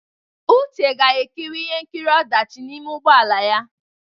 Uche ga-ekiri ihe nkiri ọdachi n'ime ụgbọ ala ya.